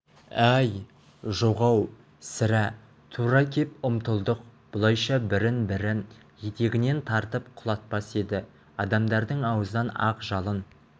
ай жоқ-ау сірә тура кеп ұмтылдық бұлайша бірін-бірі етегінен тартып құлатпас еді адамдардың аузынан ақ жалын